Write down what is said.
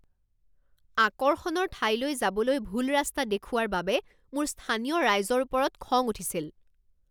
আকৰ্ষণৰ ঠাইলৈ যাবলৈ ভুল ৰাস্তা দেখুওৱাৰ বাবে মোৰ স্থানীয় ৰাইজৰ ওপৰত খং উঠিছিল।